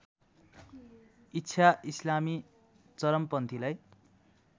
इच्छा इस्लामी चरमपन्थीलाई